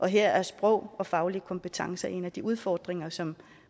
her er sprog og faglige kompetencer en af de udfordringer som